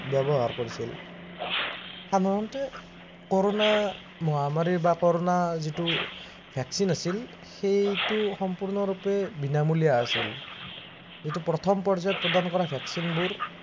ব্যৱহাৰ কৰিছিল। সাধাৰণতে corona মহামাৰী বা corona যিটো vaccine আছিল সেইটো সম্পূৰ্ণৰূপে বিনামূলীয়া আছিল। যিটো প্ৰথম পৰ্যায়ত প্ৰদান কৰা vaccine বোৰ